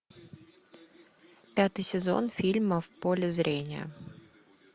пятый сезон фильма в поле зрения